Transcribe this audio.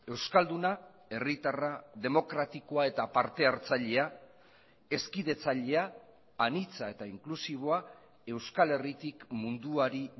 euskalduna herritarra demokratikoa eta parte hartzailea hezkidetzailea anitza eta inklusiboa euskal herritik munduari